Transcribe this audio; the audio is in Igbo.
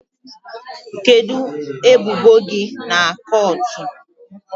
Kedu ebubo gi na kọọtụ?